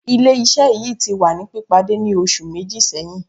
Ile Iṣẹ-iṣẹ yii ti wa ni pipade ni oṣu meji sẹhin